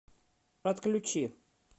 отключи